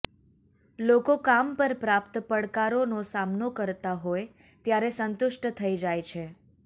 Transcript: લોકો કામ પર પ્રાપ્ત પડકારોનો સામનો કરતા હોય ત્યારે સંતુષ્ટ થઈ જાય છે